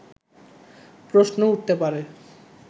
প্রশ্ন উঠতে পারে